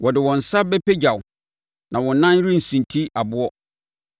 wɔde wɔn nsa bɛpagya wo, na wo nan rensunti ɔboɔ.